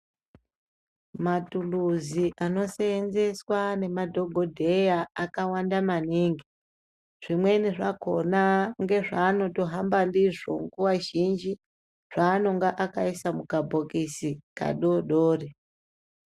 Matuluzi anoseenzeswa nemadhokodheya akawanda maningi zvimweni zvakona ngezvavatohamba ndizvo nguva zhinji zvaanonga akaisa mukabhokisi kadodori.